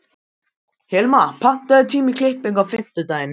Hilma, pantaðu tíma í klippingu á fimmtudaginn.